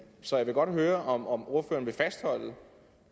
så jeg vil godt høre om om ordføreren vil fastholde